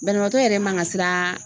Banabaatɔ yɛrɛ man ka siran